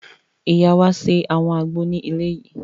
Ìyá wa ṣe àwọn àgbo ní ilé yìí